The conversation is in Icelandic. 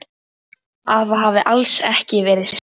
Að það hafi alls ekki verið slys.